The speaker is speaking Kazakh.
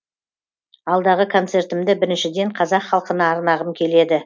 алдағы концертімді біріншіден қазақ халқына арнағым келеді